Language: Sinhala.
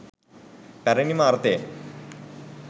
පැරණිම අර්ථයෙන්